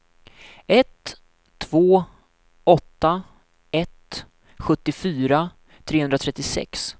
ett två åtta ett sjuttiofyra trehundratrettiosex